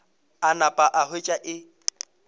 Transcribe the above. a napa a hwetša e